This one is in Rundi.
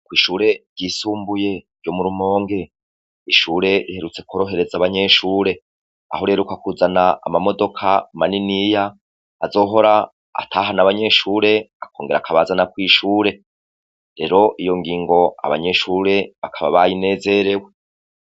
Kw'ishure ryisumbuye ryo mu rumonge, n'ishure riherutse korohreza abanyeshure, aho riheruka kuzana ama modoka maniniya azohora atahana abanyeshure akongera akabazana kw'ishure, rero iyo ngingo abanyeshure bakaba bayinezerewe.